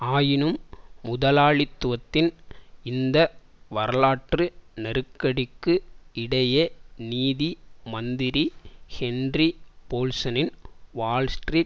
ஆயினும் முதலாளித்துவத்தின் இந்த வரலாற்று நெருக்கடிக்கு இடையே நீதி மந்திரி ஹென்றி போல்சனின் வால்ஸ்ட்ரீட்